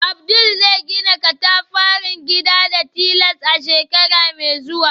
Abdul zai gina katafaren gida da tiles a shekara mai zuwa.